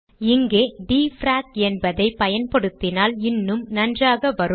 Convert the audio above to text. இங்கே டிஎஃப்ஆரேக் என்பதை பயன்படுத்தினால் இன்னும் நன்றாக வரும்